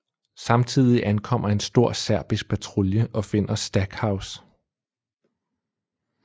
Samtidig ankommer en stor serbisk patrulje og finder Stackhouse